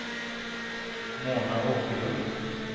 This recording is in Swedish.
Mona Åkerlund